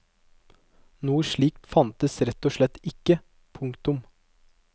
Noe slikt fantes rett og slett ikke. punktum